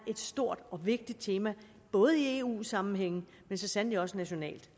et stort og vigtigt tema både i eu sammenhæng og så sandelig også nationalt